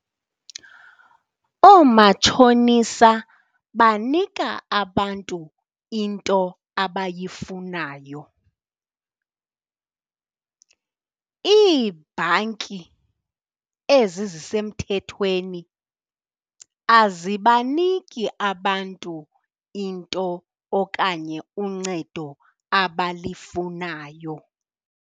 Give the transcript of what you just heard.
Oomatshonisa banika abantu into abayifunayo. Iibhanki, ezi zisemthethweni, azibaniki abantu into okanye uncedo abalifunayo.